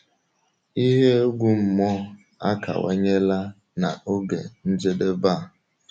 Ihe egwu mmụọ akawanyela na oge njedebe a.